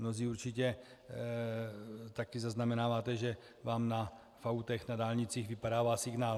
Mnozí určitě taky zaznamenáváte, že vám v autech na dálnicích vypadává signál.